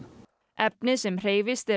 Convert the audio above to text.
efnið sem hreyfist er